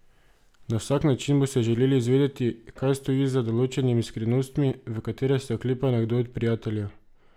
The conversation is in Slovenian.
Na vsak način boste želeli izvedeti, kaj stoji za določenimi skrivnostmi, v katere se oklepa nekdo od prijateljev.